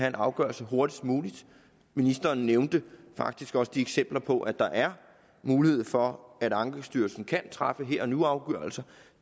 en afgørelse hurtigst muligt ministeren nævnte faktisk også eksempler på at der er mulighed for at ankestyrelsen kan træffe her og nu afgørelser